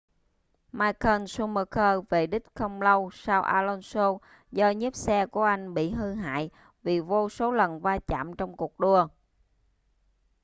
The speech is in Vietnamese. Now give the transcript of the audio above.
michael schumacher về đích không lâu sau alonso do nhíp xe của anh bị hư hại vì vô số lần va chạm trong cuộc đua